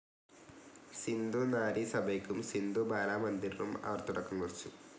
സിന്ധു നാരി സഭയ്ക്കും സിന്ധു ബാല മന്ദിറിനും അവർ തുടക്കം കുറിച്ചു.